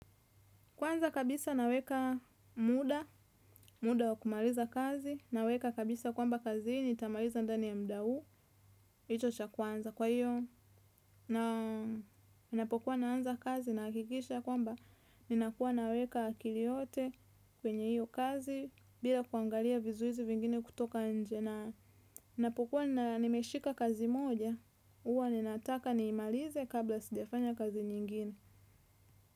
Kwanza kabisa naweka muda, muda wa kumaliza kazi, naweka kabisa kwamba kazi ni tamaliza ndani ya muda huu, hicho cha kwanza. Kwa hiyo, nina pokuwa naanza kazi, nahakikisha kwamba, nina kuwa naweka akili yote kwenye hiyo kazi, bila kuangalia vizuizi vingine kutoka nje. Ninapokuwa nimeshika kazi moja, huwa ninanataka niimalize kabla sijafanya kazi nyingine.